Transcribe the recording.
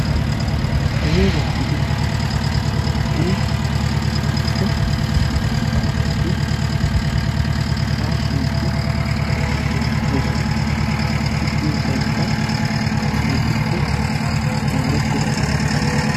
Dooza gidiya uuttaa naa''u maccaasati hashshide beettoosona; eti diyo sohoykka keehippe mooretira sohuwaa.